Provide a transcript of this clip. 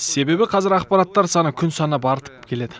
себебі қазір ақпараттар саны күн санап артып келеді